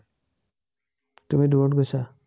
তুমি দুৰত গৈছা।